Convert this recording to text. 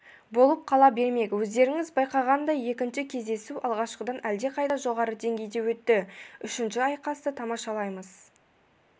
болып қала бермек өздеріңіз байқағандай екінші кездесу алғашқыдан әлдеқайда жоғары деңгейде өтті үшінші айқасты тамашалаймыз